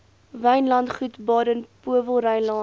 wynlandgoed baden powellrylaan